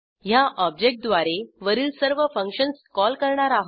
ह्या ऑब्जेक्टद्वारे वरील सर्व फंक्शन्स कॉल करणार आहोत